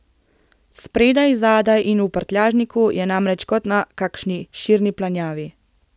Spredaj, zadaj in v prtljažniku je namreč kot na kakšni širni planjavi.